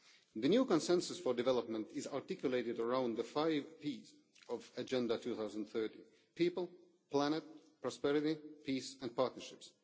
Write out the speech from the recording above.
The new consensus for development is articulated around the five Ps' of Agenda 2030 people, planet, prosperity, peace and partnerships.